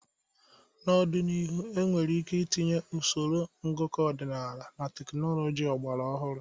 N'ọdịnihu, enwere ike itinye usoro ngụkọ ọdịnala na teknụzụ ọgbara ọhụrụ.